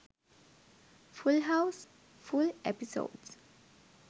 full house full episodes